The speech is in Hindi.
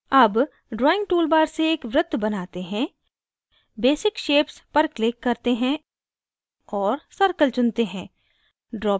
अब drawing toolbar से एक वृत्त बनाते हैं basic shapes पर click करते हैं और circle चुनते है